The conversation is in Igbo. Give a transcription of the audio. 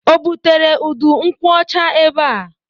O butere udu nkwụ ọcha ebe?